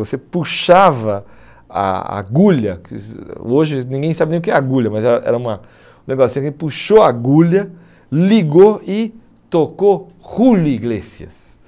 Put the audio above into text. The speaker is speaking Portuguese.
Você puxava a agulha, hoje ninguém sabe nem o que é agulha, mas era era uma um negócio assim, puxou a agulha, ligou e tocou Juli Iglesias